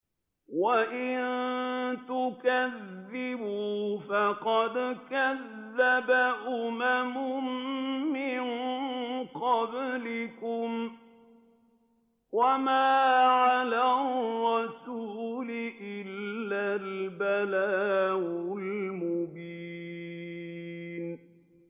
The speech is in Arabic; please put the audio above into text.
وَإِن تُكَذِّبُوا فَقَدْ كَذَّبَ أُمَمٌ مِّن قَبْلِكُمْ ۖ وَمَا عَلَى الرَّسُولِ إِلَّا الْبَلَاغُ الْمُبِينُ